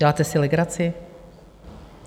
Děláte si legraci?